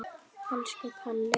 Elsku Kalli.